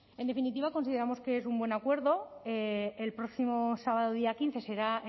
en definitiva consideramos que es un buen acuerdo el próximo sábado día quince será